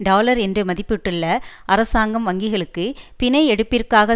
dollar என்று மதிப்பிட்டுள்ள அரசாங்கம் வங்கிகளுக்கு பிணை எடுப்பிற்காக